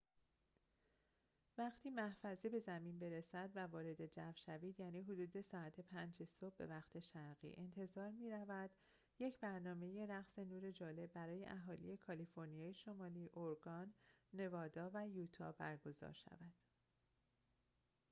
وقتی محفظه به زمین برسد و وارد جو شود، یعنی حدود ساعت 5 صبح به وقت شرقی، انتظار می‌رود یک برنامه رقص نور جالب برای اهالی کالیفرنیای شمالی، اورگان، نوادا و یوتا برگزار شود